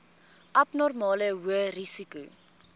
abnormale hoë risiko